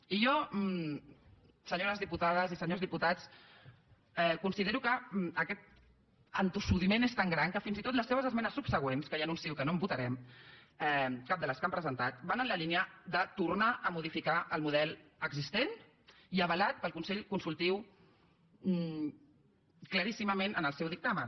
i jo senyores diputades i senyors diputats considero que aquest entossudiment és tan gran que fins i tot les seves esmenes subsegüents que ja anuncio que no en votarem cap de les que han presentat van en la línia de tornar a modificar el model existent i avalat pel consell consultiu claríssimament en el seu dictamen